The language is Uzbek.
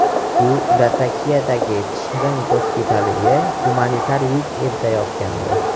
U Latakiyadagi Tishrin gospitaliga gumanitar yuk eltayotgandi.